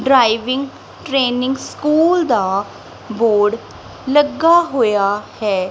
Driving training school ਦਾ board ਲੱਗਾ ਹੋਇਆ ਹੈ।